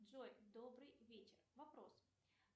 джой добрый вечер вопрос